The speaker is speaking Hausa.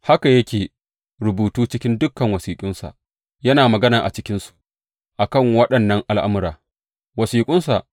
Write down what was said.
Haka yake rubutu cikin dukan wasiƙunsa, yana magana a cikinsu a kan waɗannan al’amura.